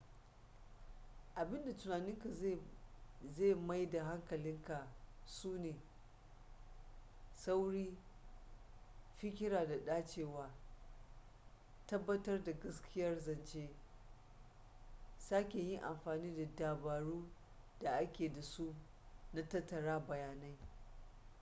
abinda tunaninka zai mai da hankali kai su ne sauri fikira da dacewa tabbatar da gaskiyar zance sake yin amfani da dabaru da ake da su na tattara bayanai